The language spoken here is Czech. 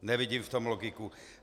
Nevidím v tom logiku.